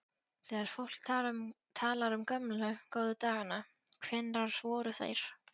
Þegar fólk talar um gömlu, góðu dagana, hvenær voru þeir?